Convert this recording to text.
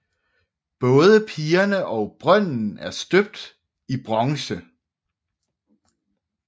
Både pigerne og brønden er støbt i bronze